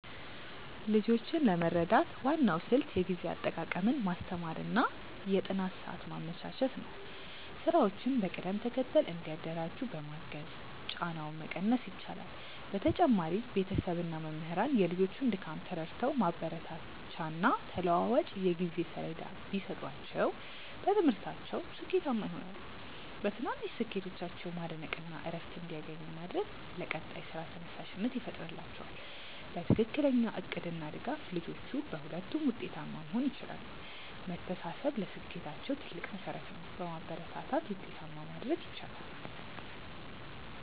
ልጆችን ለመርዳት ዋናው ስልት የጊዜ አጠቃቀምን ማስተማር እና የጥናት ሰዓት ማመቻቸት ነው። ስራዎችን በቅደም ተከተል እንዲያደራጁ በማገዝ ጫናውን መቀነስ ይቻላል። በተጨማሪም ቤተሰብ እና መምህራን የልጆቹን ድካም ተረድተው ማበረታቻና ተለዋዋጭ የጊዜ ሰሌዳ ቢሰጧቸው በትምህርታቸው ስኬታማ ይሆናሉ። በትናንሽ ስኬቶቻቸው ማድነቅ እና እረፍት እንዲያገኙ ማድረግ ለቀጣይ ስራ ተነሳሽነት ይፈጥርላቸዋል። በትክክለኛ እቅድ እና ድጋፍ ልጆቹ በሁለቱም ውጤታማ መሆን ይችላሉ። መተሳሰብ ለስኬታቸው ትልቅ መሠረት ነው። በማበረታታት ውጤታማ ማድረግ ይቻላል።